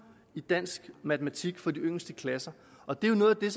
i dansk og matematik for de yngste klasser og det er jo noget af det